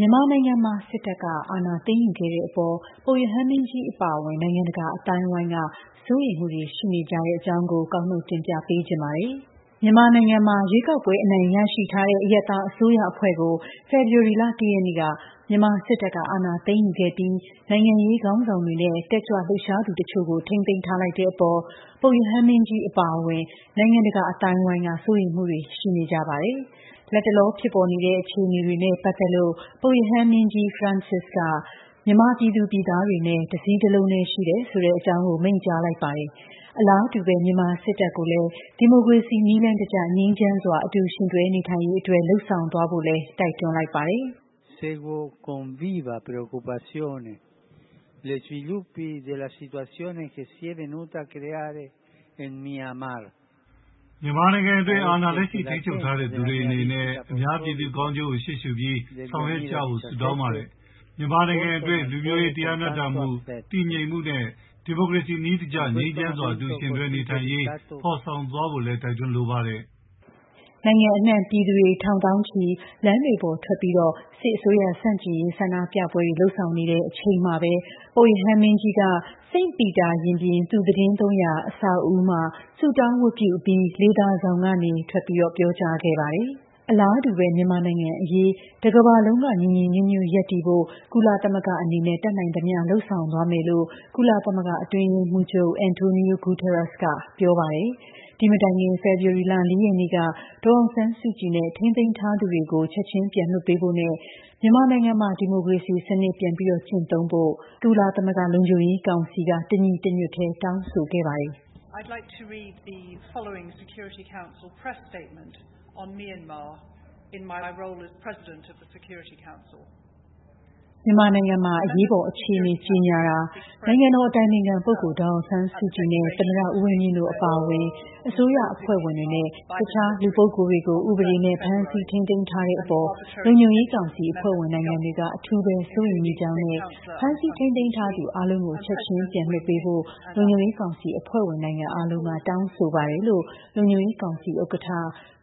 မြန်မာနိုင်ငံမှာ စစ်တပ်က အာဏာ သိမ်းယူခဲ့တဲ့အပေါ် ပုပ်ရဟန်းမင်းကြီး အပါအဝင် နိုင်ငံတကာ အသိုင်းအဝိုင်းက စိုးရိမ်မှုတွေရှိနေကြတဲ့အကြောင်း ကောက်နှုတ် တင်ပြပေးထားပါတယ်။ မြန်မာနိုင်ငံမှာ ရွေးကောက်ပွဲအနိုင်ရရှိထားတဲ့ အရပ်သား အစိုးရအဖွဲ့ကို ဖေဖော်ဝါရီ ၁ ရက်နေ့က မြန်မာစစ်တပ်က အာဏာသိမ်းယူခဲ့ပြီး နိုင်ငံရေးခေါင်းဆောင်တွေနဲ့ တက်ကြွလှုပ်ရှား သူတချို့ကို ထိန်းသိမ်းထားလိုက်တဲ့ အပေါ် ပုပ်ရဟန်းမင်းကြီး အပါအဝင် နိုင်ငံတကာ အသိုင်းအဝိုင်းက စိုးရိမ်မှုတွေရှိနေကြပါတယ်။ လတ်တလော ဖြစ်ပေါ်နေတဲ့ အခြေအနေတွေနဲ့ ပတ်သက်လို့ ပုပ်ရဟန်းမင်းကြီးက မြန်မာမြန်မာပြည်သူတွေနဲ့ တစည်းတလုံးထဲရှိ တယ်ဆိုတဲ့ အကြောင်း မိန့်ကြားလိုက်ပါတယ်။ အလားတူပဲ မြန်မာစစ်တပ်ကိုလည်း ဒီမိုကရေစီနည်းလမ်းတကျ ငြိမ်းချမ်းစွာ အတူယှဉ်တွဲနေထိုင်ရေး အတွက် လုပ်ဆောင်သွားဖို့ လည်း ပုပ်ရဟန်းမင်းကြီးက တိုက်တွန်းလိုက်ပါတယ်။ “မြန်မာနိုင်ငံတွင်း အာဏာလက်ရှိ ထိန်းချုပ်ထားတဲ့သူတွေအနေနဲ့ အများပြည်သူကောင်းကျိုးကို ရှေ့ရှုပြီး ဆောင်ရွက်ကြဖို့ ဆုတောင်းပါတယ်။ မြန်မာနိုင်ငံတွင်း လူမျိုးရေး၊ တရားမျှတမှု၊ တည်ငြိမ်မှုနဲ့ ဒီမိုကရေစီနည်းကျ ငြိမ်းချမ်းစွာ အတူယှဉ်တွဲနေထိုင်ရေး ဖော်ဆောင်သွားဖို့ လည်း တိုက်တွန်းလိုပါတယ်။” လို့ပြောဆိုသွားပါတယ်။ နိုင်ငံအနှံ့ ပြည်သူတွေ ထောင်သောင်းချီလမ်းတွေပေါ်ထွက်ပြီး စစ်အစိုးရဆန့်ကျင်ရေး ဆန္ဒပြပွဲတွေ လုပ်ဆောင်နေတဲ့ အချိန်မှာပဲ ပုပ်ရဟန်းမင်းကြီးက မနေ့တုန်းက ဆုတောင်းဝတ်ပြုအပြီးမှာ စိန့်ပီတာရင်ပြင် သူသီတင်းသုံးရာ အဆောက်အဦးရဲ့ လေသာဆောင်ကနေ ပြောကြားခဲ့တာပါ။ မြန်မာနိုင်ငံအရေး တကမ္ဘာလုံးက ညီညီညွတ်ညွတ်ရပ်တည်ဖို့ ကုလသမဂ္ဂအနေနဲ့ တတ်နိုင်သမျှလုပ်ဆောင်သွားမယ်လို့ ကုလသမဂ္ဂ အတွင်းရေးမှုးချုပ် Antonio Guterres ကပြောပါတယ်။ ဒီမတိုင်ခင် ဖေဖော်ဝါရီလ ၄ ရက်နေ့က ဒေါ်အောင်ဆန်းစုကြည်နဲ့ ထိန်းသိမ်းထားသူတွေကို ချက်ချင်း ပြန်လွှတ်ပေးဖို့နဲ့ မြန်မာနိုင်ငံမှာ ဒီမိုကရေစီ စနစ် ပြန်လည် ကျင်းသုံးဖို့ ကုလသမဂ္ဂ လုံခြုံရေးကောင်စီက တညီတညွတ်တည်း တောင်းဆိုခဲ့ပါတယ်။ “မြန်မာနိုင်ငံမှာ အရေးပေါ် အခြေအနေ ကြေညာတာ၊ နိုင်ငံတော် အတိုင်ပင်ခံ ပုဂ္ဂိုလ် ဒေါ်အောင်ဆန်းစုကြည်နဲ့ သမ္မတ ဦးဝင်းမြင့်တို့ အပါအဝင် အစိုးရ အဖွဲ့ဝင်တွေနဲ့ တခြား လူပုဂ္ဂိုလ်တွေကို ဥပဒေမဲ့ ဖမ်းဆီးထိန်းသိမ်းတဲ့အပေါ် လုံခြုံရေးကောင်စီ အဖွဲ့ဝင် နိုင်ငံ တွေက အထူးပဲ စိုးရိမ်မိကြောင်းနဲ့ ဖမ်းဆီးထိန်းသိမ်းထားသူ အားလုံးကို ချက်ချင်း ပြန်လွှတ်ပေးဖို့ လုံခြုံရေးကောင်စီ အဖွဲ့ဝင် နိုင်ငံ အားလုံးက တောင်းဆို ပါတယ်” လို့ လုံခြုံရေးကောင်စီ ဥက္ကဌ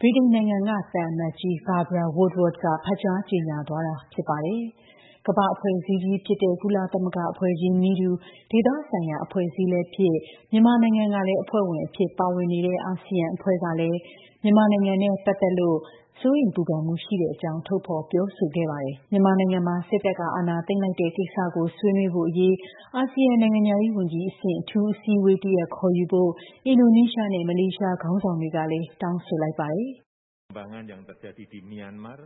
ဗြိတိန်နိုင်ငံက သံအမတ်ကြီး Barbara Woodward က ဖတ်ကြား ကြေညာသွားတာ ဖြစ်ပါတယ်။ ကမ္ဘာ့အဖွဲ့အစည်း ကြီးဖြစ်တဲ့ ကုလသမဂ္ဂအဖွဲ့ကြီးနည်းတူ ဒေသဆိုင်ရာ အဖွဲ့အစည်းလည်းဖြစ် မြန်မာနိုင်ငံကလည်း အဖွဲ့ဝင်အဖြစ်ပါဝင်နေတဲ့ ASEAN အာဆီယံ အဖွဲ့ကလည်း မြန်မာနိုင်ငံနဲ့ ပတ်သက်လို့ စိုးရိမ်ပူပန်မှုရှိတဲ့ အကြောင်းထုတ်ဖော်ပြောဆိုခဲ့ပါတယ်။ မြန်မာနိုင်ငံမှာ စစ်တပ်က အာဏာသိမ်းလိုက်တဲ့ ကိစ္စကို ဆွေးနွေးဖို့အရေး အာဆီယံနိုင်ငံခြားရေးဝန်ကြီးအဆင့် အထူး အစည်းအဝေး တစ်ရပ်ခေါ်ယူဖို့ အင်ဒိုနီးရှားနဲ့ မလေးရှားခေါင်းဆောင်တွေကလည်း တောင်းဆိုလိုက်ပါတယ်။ “မြန်မာ့အ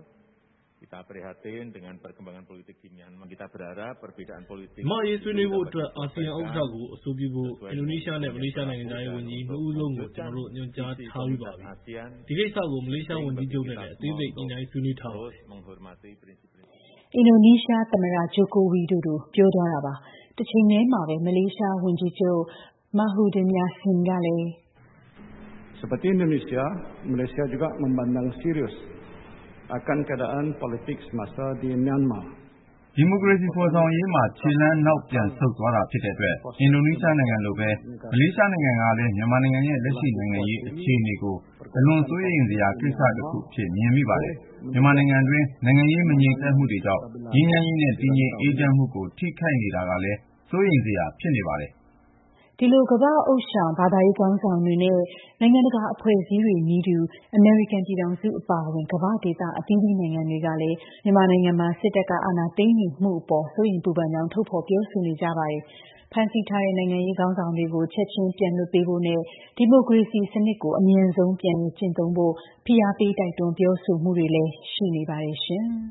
ရေး ဆွေးနွေးဖို့အတွက် အာဆီယံ ဥက္ကဌကို အဆိုပြုဖို့ အင်ဒိုနီးရှားနဲ့ မလေးရှား နိုင်ငံခြားရေး ဝန်ကြီး နှစ်ဦးစလုံးကို ကျွန်တော်တို့ ညွှန်ကြားထားပြီးပါပြီ။ ဒီကိစ္စကို မလေးရှား ဝန်ကြီးချုပ်နဲ့လည်း အသေးစိတ် ညှိနှိုင်းဆွေးနွေးထားပါတယ်။” လို့အင်ဒိုနီး ရှားသမ္မတ Joko Widodo က ပြောသွားတာပါ။ တချိန်ထဲမှာပဲ မလေးရှား ဝန်ကြီးချုပ် Muhyiddin Yassin က လည်း “ဒီမိုကရေစီဖော်ဆောင်ရေးမှာ ခြေတလှမ်းနောက်ပြန်ဆုတ် သွားတာဖြစ်တဲ့အတွက် အင်ဒိုနီးရှားနိုင်ငံလိုပဲ မလေးရှားနိုင်ငံကလည်း မြန်မာနိုင်ငံရဲ့ လက်ရှိနိုင်ငံရေး အခြေအနေကို အလွန် စိုးရိမ်စရာကိစ္စတခုအဖြစ် မြင်မိပါတယ်။ မြန်မာနိုင်ငံတွင်း နိုင်ငံရေးမငြိမ်သက်မှုတွေကြောင့် ငြိမ်းချမ်းရေးနဲ့ တည်ငြိမ် အေးချမ်းမှုကို ထိခိုက်နေတာကလည်း စိုးရိမ်စရာဖြစ်နေပါတယ်” လို့ပြောဆိုသွားပါတယ်။ ဒီလို ကမ္ဘာ့ ဥသျှောင် ဘာသာရေးခေါင်းဆောင်တွေနဲ့ နိုင်ငံတကာ အဖွဲ့အစည်းတွေနည်းတူ အမေရိကန်ပြည်ထောင်စုအပါအဝင် ကမ္ဘာ့ဒေသ အသီးသီး နိုင်ငံတွေကလည်း မြန်မာနိုင်ငံမှာ စစ်တပ်ကအာဏာသိမ်းယူမှုအပေါ် စိုးရိမ်ပူပန်ကြောင်းထုတ်ဖော်ပြောဆိုနေကြပါတယ်။ ဒါ့အပြင်ဖမ်းဆီးထားတဲ့ နိုင်ငံရေးခေါင်းဆောင်တွေကို ချက်ချင်း ပြန်လွှတ်ပေးဖို့နဲ့ ဒီမိုကရေစီစနစ်ကို အမြန်ဆုံး ပြန်လည်ကျင့်သုံးဖို့ ဖိအားပေး တိုက်တွန်းပြောဆိုမှုတွေလည်း ဆက်တိုက်ပြုလုပ်လာကြပါတယ်ရှင်။